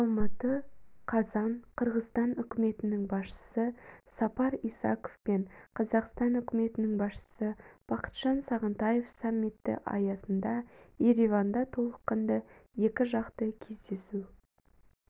алматы қазан қырғызстан үкіметінің басшысы сапар исаков пен қазақстан үкіметінің басшысы бақытжан сағынтаев саммиті аясында ереванда толыққанды екі жақты кездесу